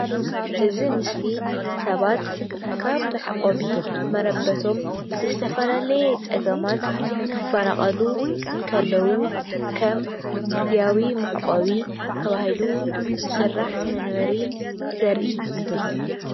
እዚ ምስሊ ሰባት ካብ መዕቆቢ መረበቶም ብዝተፈላለየ ፅገማት ክፈናቀሉ እንከለዉ ከም ግዝያዊ መዕቆቢ ተባሂሉ ዝስራሕ ምንበሪ ዘርኢ እዩ።